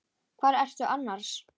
Hvar ertu annars?